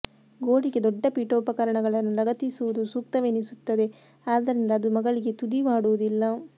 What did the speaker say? ಗೋಡೆಗೆ ದೊಡ್ಡ ಪೀಠೋಪಕರಣಗಳನ್ನು ಲಗತ್ತಿಸುವುದು ಸೂಕ್ತವೆನಿಸುತ್ತದೆ ಆದ್ದರಿಂದ ಅದು ಮಗಳಿಗೆ ತುದಿ ಮಾಡುವುದಿಲ್ಲ